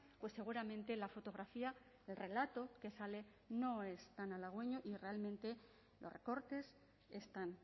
pues seguramente la fotografía el relato que sale no es tan halagüeño y realmente los recortes están